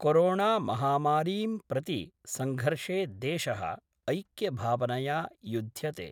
कोरोणामहामारीं प्रति संघर्षे देश: ऐक्यभावनया युद्ध्यते।